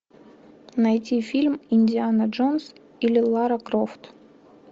найти фильм индиана джонс или лара крофт